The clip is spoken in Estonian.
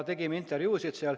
Tegime seal intervjuusid.